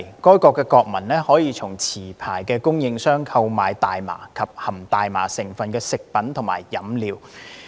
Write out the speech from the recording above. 該國國民可以從持牌供應商購買大麻及含大麻成分的食品和飲料。